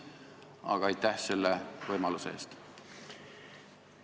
Aga aitäh selle võimaluse eest!